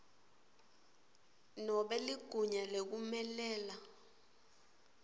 nobe ligunya lekumelela